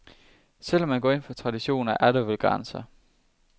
Selv om man går ind for traditioner, er der vel grænser.